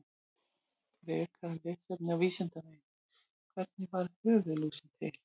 Frekara lesefni á Vísindavefnum: Hvernig varð höfuðlúsin til?